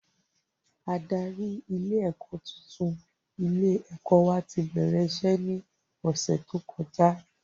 Adarí ilé ẹ̀kọ́ tuntun ilé ẹ̀kọ́ wa ti bẹ̀rẹ̀ iṣẹ́ ní ọ̀sẹ̀ tó kọjá